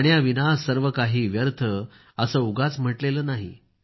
पाण्याविना सर्व काही व्यर्थ असं उगाच म्हटलेलं नाही